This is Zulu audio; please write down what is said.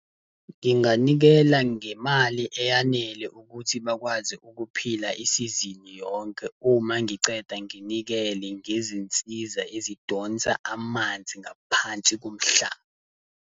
Nginganikela ngemali eyanele ukuthi bakwazi ukuphila isizini yonke, uma ngiqeda, nginikele ngezinsiza ezidonsa amanzi ngaphansi komhlaba.